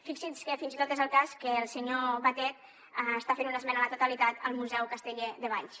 fixin se que fins i tot és el cas que el senyor batet està fent una esmena a la totalitat al museu casteller de valls